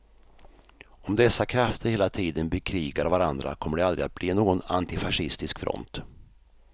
Om dessa krafter hela tiden bekrigar varandra kommer det aldrig att bli någon antifascistisk front.